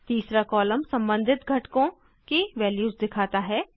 तीसरा कॉलम सम्बंधित घटकों की वैल्यूज़ दिखाता है